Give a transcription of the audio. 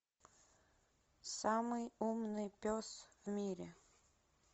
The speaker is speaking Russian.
самый умный пес в мире